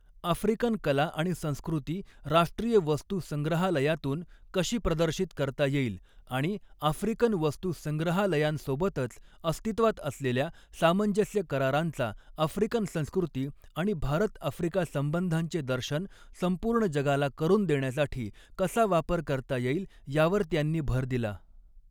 African कला आणि संस्कृती राष्ट्रीय वस्तू संग्रहालयातून कशी प्रदर्शित करता येईल, आणि आफ्रिकन वस्तू संग्रहालयांसोबतच अस्तित्वात असलेल्या सामंजस्य करारांचा आफ्रिकन संस्कृती आणि भारत आफ्रिका संबंधांचे दर्शन संपूर्ण जगाला करुन देण्यासाठी कसा वापर करता येईल, यावर त्यांनी भर दिला.